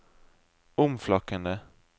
omflakkende